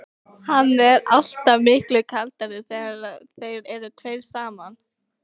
Hann er alltaf miklu kaldari þegar þeir eru tveir saman.